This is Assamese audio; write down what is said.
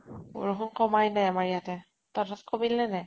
বৰষুন কমাই নাই আমাৰ ইয়াতে। তহতৰ তাত কমিল নে নাই?